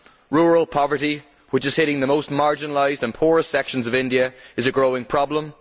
Rural poverty, which is hitting the most marginalised and poorest sections of India, is a growing problem.